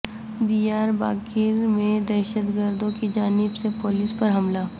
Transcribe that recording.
دیار باقر میں دہشت گردوں کی جانب سے پو لیس پر حملہ